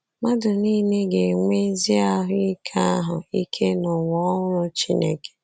Mmadụ nile ga-enwe ezi ahụ ike ahụ ike n’ụwa ọhụrụ Chineke.